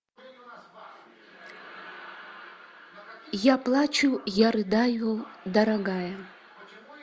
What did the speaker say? я плачу я рыдаю дорогая